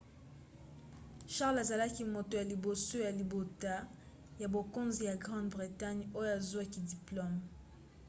charles azalaki moto ya liboso ya libota ya bokonzi ya grande bretagne oyo azwaki diplome